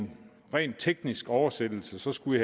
ren teknisk oversættelse skulle i